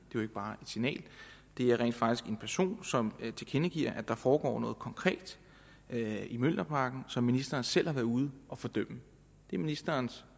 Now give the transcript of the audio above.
jo ikke bare et signal det er rent faktisk en person som tilkendegiver at der foregår noget konkret i mjølnerparken som ministeren selv har været ude at fordømme det er ministerens